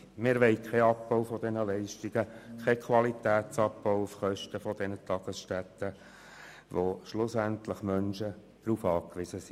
Wir wollen keinen Abbau dieser Leistungen, keinen Qualitätsabbau auf Kosten dieser Tagesstätten, auf die schlussendlich Menschen angewiesen sind.